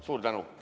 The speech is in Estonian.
Suur tänu!